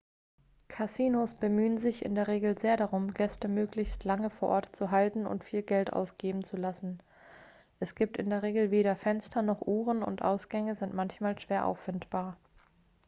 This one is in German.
kasinos bemühen sich in der regel sehr darum gäste möglichst lange vor ort zu halten und viel geld ausgeben zu lassen es gibt in der regel weder fenster noch uhren und ausgänge sind manchmal schwer auffindbar